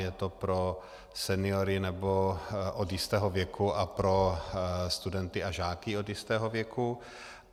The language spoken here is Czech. Je to pro seniory, nebo od jistého věku, a pro studenty a žáky od jistého věku.